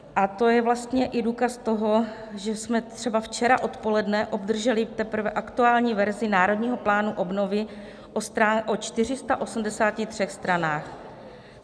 A to je vlastně i důkaz toho, že jsme třeba včera odpoledne obdrželi teprve aktuální verzi Národního plánu obnovy o 483 stranách.